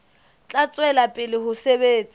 tla tswela pele ho sebetsa